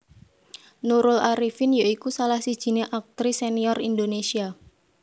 Nurul Arifin ya iku salah sijiné aktris senior Indonésia